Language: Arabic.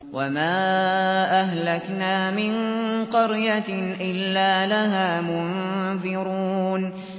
وَمَا أَهْلَكْنَا مِن قَرْيَةٍ إِلَّا لَهَا مُنذِرُونَ